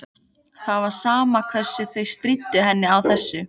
Það var sama hvað þau stríddu henni á þessu.